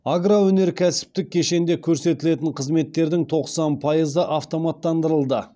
агроөнеркәсіптік кешенде көрсетілетін қызметтердің тоқсан пайызы автоматтандырылды